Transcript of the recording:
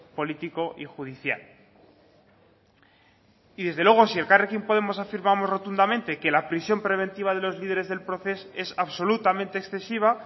político y judicial y desde luego si elkarrekin podemos afirmamos rotundamente que la prisión preventiva de los líderes del proces es absolutamente excesiva